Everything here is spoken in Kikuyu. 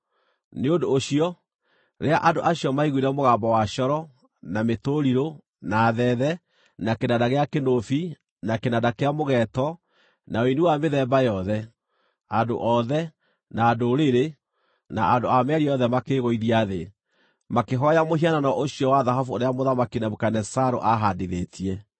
Nĩ ũndũ ũcio, rĩrĩa andũ acio maiguire mũgambo wa coro, na mĩtũrirũ, na thethe, na kĩnanda gĩa kĩnũbi, na kĩnanda kĩa mũgeeto, na ũini wa mĩthemba yothe, andũ othe, na ndũrĩrĩ, na andũ a mĩario yothe makĩĩgũithia thĩ, makĩhooya mũhianano ũcio wa thahabu ũrĩa Mũthamaki Nebukadinezaru aahaandithĩtie.